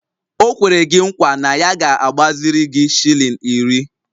O kwere gi nkwa na ya ga-agbaziri gi shilling iri